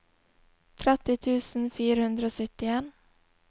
tretti tusen fire hundre og syttien